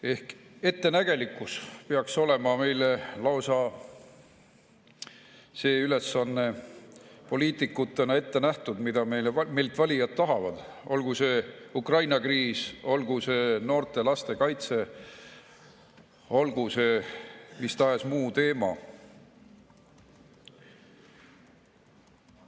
Ehk ettenägelikkus on see ülesanne, mis peaks olema meile poliitikutena lausa ette nähtud, mida meilt valijad tahavad, olgu see Ukraina kriis, olgu see noorte ja laste kaitse, olgu see mis tahes muu teema.